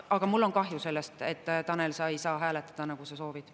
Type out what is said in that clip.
Aga mul on kahju sellest, et sa, Tanel, ei saa hääletada, nagu sa soovid.